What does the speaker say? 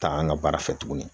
Taa an ka baara fɛ tuguni